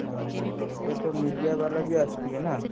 ଅହୋ, ଏବେ ତ media ବାଲା ବି ଆସିଥିବେ ନାଁ?